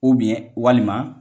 walima